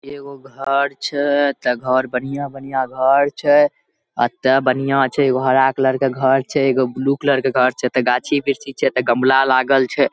एगो घर छे। त घर बढियां बढियां घर छे। अत बढ़िया छे। एगो हरा कलर के घर छे एगो ब्लू कलर के घर छे। त गाछी वृक्ष छे त गमला लागल छे।